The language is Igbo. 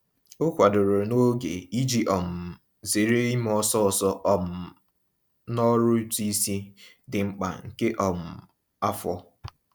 O kwadoro n'oge iji um zere ime ọsọọsọ um n'ọrụ ụtụisi dị mkpa nke um afọ.